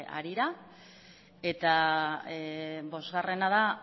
harira eta bosgarrena da